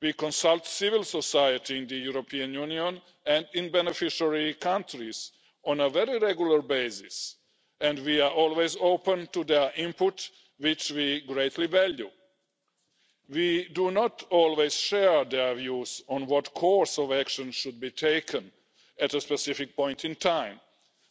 We consult civil society in the European Union and in beneficiary countries on a very regular basis and we are always open to their input, which we greatly value. We do not always share their views on what course of action should be taken at a specific point in time,